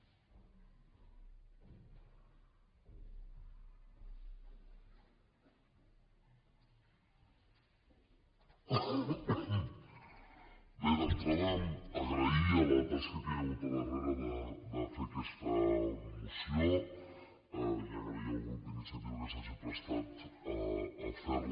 bé d’entrada agrair la tasca que hi ha hagut al dar·rere de fer aquesta moció i agrair al grup d’iniciativa que s’hagi prestat a fer·la